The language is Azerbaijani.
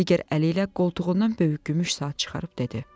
Digər əli ilə qoltuğundan böyük gümüş saat çıxarıb dedi.